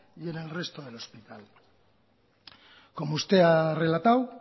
y en el resto del hospital como usted ha relatado